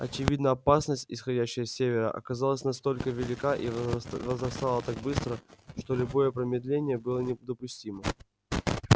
очевидно опасность исходящая с севера оказалась настолько велика и возрастала так быстро что любое промедление было недопустимо